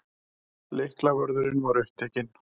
Lyklavörðurinn var upptekinn.